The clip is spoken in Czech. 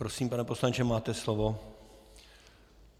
Prosím, pane poslanče, máte slovo.